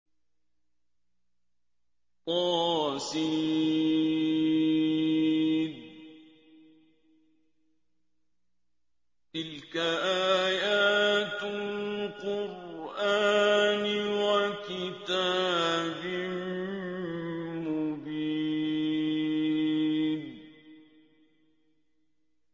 طس ۚ تِلْكَ آيَاتُ الْقُرْآنِ وَكِتَابٍ مُّبِينٍ